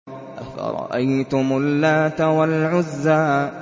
أَفَرَأَيْتُمُ اللَّاتَ وَالْعُزَّىٰ